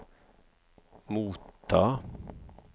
motta